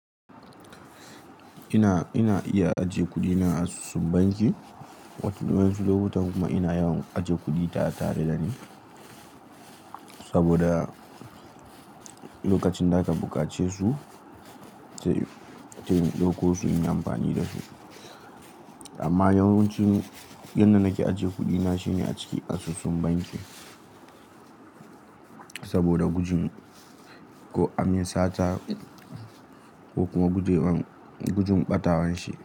Ina, ina iya ajiye kuɗina a asusun banki. Wata wayansu lokutan kuma ina yawan ajiye kuɗi tare, tare da ni. Saboda lokacin da aka buƙace su, sai in, ce in ɗauko su inyi amfani da su. Amma yawancin inda nake ajiye kuɗina shine a cikin asusun banki. Saboda gujin ko amin sata ko kuma guje, gujin ɓatawan shi.